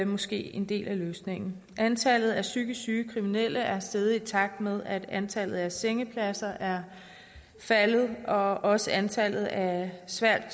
måske en del af løsningen antallet af psykisk syge kriminelle er steget i takt med at antallet af sengepladser er faldet og også antallet af svært